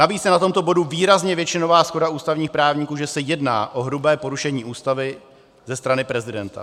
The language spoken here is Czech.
Navíc je na tomto bodu výrazně většinová shoda ústavních právníků, že se jedná o hrubé porušení Ústavy ze strany prezidenta.